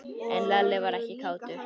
En Lalli var ekkert kátur.